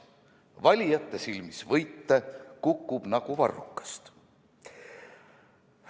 Valijate silmis võite kukub nagu varrukast!